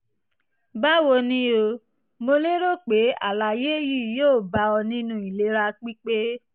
báwo ni o? mo lérò pé àlàyé yìí yóò bá ọ nínú ìlera pípé